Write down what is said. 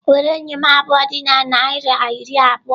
Were eyịm abụọ dị na naira iri abụọ!